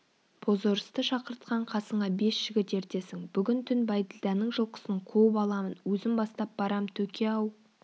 бозорысты шақыртқан қасыңа бес жігіт ертесің бүгін түн бәйділданың жылқысын қуып аламын өзім бастап барам төке-ау